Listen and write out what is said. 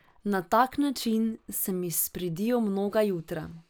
Na tak način se mi spridijo mnoga jutra.